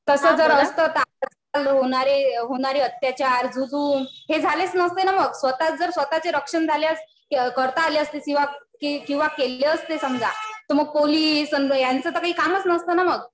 तसं जर असतं ना तर होणारे अत्याचार, जुलूम हे झालेच नसते ना मग. स्वतःच जर स्वतःचे रक्षण करता आले असते किंवा केली असते समजा तर मग पोलीस यांचं तर काही कामच नसतं ना मग.